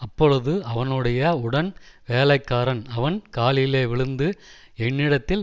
அப்பொழுது அவனுடைய உடன் வேலைக்காரன் அவன் காலிலே விழுந்து என்னிடத்தில்